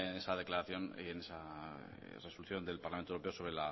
esa resolución del parlamento europeo sobre